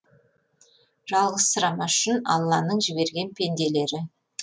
жалғызсырамас үшін алланың жіберген пенделері